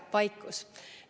Vaikus.